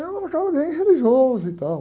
Eu era um cara bem religioso e tal.